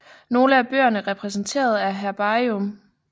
Nogle af bøgerne repræsenteret er herbarium